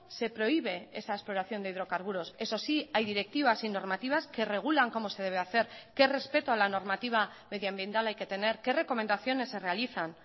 se prohíbe esa exploración de hidrocarburos eso sí hay directivas y normativas que regulan cómo se debe hacer qué respeto a la normativa medioambiental hay que tener qué recomendaciones se realizan